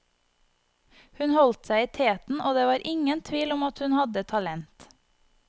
Hun holdt seg i teten, og det var ingen tvil om at hun hadde talent.